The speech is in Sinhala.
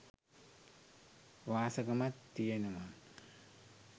වාසගමත් තියෙනවා.